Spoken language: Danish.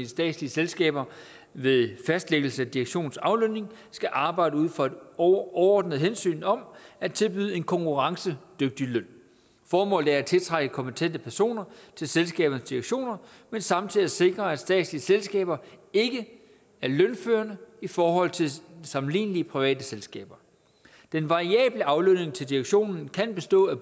statslige selskaber ved fastlæggelse af direktionens aflønning skal arbejde ud fra et overordnet hensyn om at tilbyde en konkurrencedygtig løn formålet er at tiltrække kompetente personer til selskabernes direktioner men samtidig også at sikre at statslige selskaber ikke er lønførende i forhold til sammenlignelige private selskaber den variable aflønning til direktionen kan bestå af